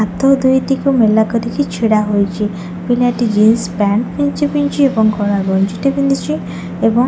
ହାତ ଦୁଇଟିକୁ ମେଲା କରିକି ଛିଡ଼ା ହେଇଛି ପିଲାଟି ଜିନ୍ସ ପ୍ୟାଣ୍ଟ୍ ପିନ୍ଧିଛି ପିନ୍ଧିଛି ଏବଂ କଳା ଗଞ୍ଜି ଟେ ପିନ୍ଧିଛି ଏବଂ --